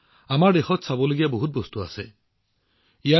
আমাৰ দেশত বহুতো বস্তু চাবলৈ আছে